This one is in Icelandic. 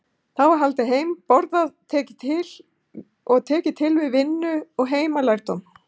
Þá var haldið heim, borðað og tekið til við vinnu og heimalærdóm.